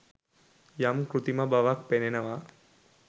යම් කෘත්‍රිම බවක් පෙනෙනවා